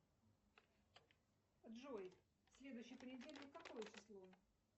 джой следующий понедельник какое число